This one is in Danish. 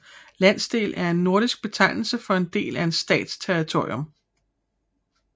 Landsdel er en nordisk betegnelse for en del af en stats territorium